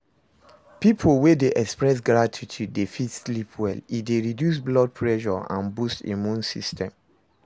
Pipo wey de express gratitude de fit sleep well, e de reduce blood pressure and boost immune system